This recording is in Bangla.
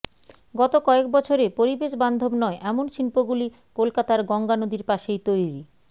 গত কয়েক বছরে পরিবেশবান্ধব নয় এমন শিল্পগুলি কলকাতার গঙ্গা নদীর পাশেই তৈরি